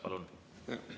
Palun!